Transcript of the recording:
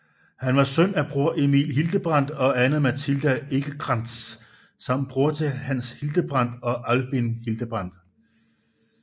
Han var søn af Bror Emil Hildebrand og Anna Mathilda Ekecrantz samt broder til Hans Hildebrand og Albin Hildebrand